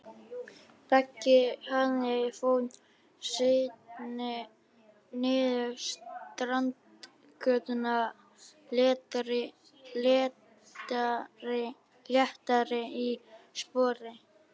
Beggi hraðar för sinni niður Strandgötuna léttari í spori.